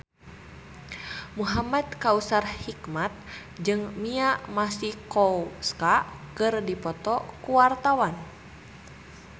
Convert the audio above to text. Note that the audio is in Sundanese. Muhamad Kautsar Hikmat jeung Mia Masikowska keur dipoto ku wartawan